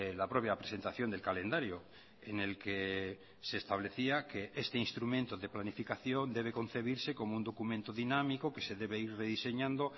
la propia presentación del calendario en el que se establecía que este instrumento de planificación debe concebirse como un documento dinámico que se debe ir rediseñando